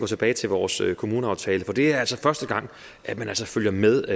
tilbage til vores kommuneaftale for det er altså første gang at man følger med